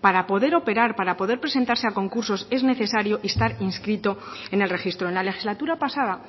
para poder operar para poder presentarse a concursos es necesario estar inscrito en el registro en la legislatura pasada